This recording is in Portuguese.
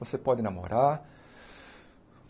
Você pode namorar.